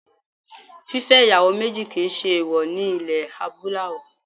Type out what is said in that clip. Fífẹ́ ìyàwó méjì kì í ṣe èèwọ̀ ní ilẹ̀ Adúláwọ̀